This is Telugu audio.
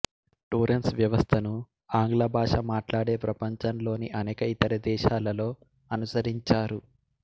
టొరెన్స్ వ్యవస్థను ఆంగ్ల భాష మాట్లాడే ప్రపంచంలోని అనేక ఇతర దేశాలలో అనుసరించారు